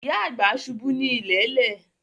Ìyá àgbà ṣubú ní ilẹ̀lẹ̀